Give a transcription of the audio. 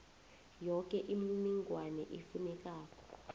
yoke imininingwana efunekako